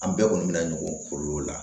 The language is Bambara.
An bɛɛ kɔni bɛ na ɲɔgɔn na